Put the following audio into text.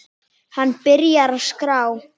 Hann byrjar að skrá.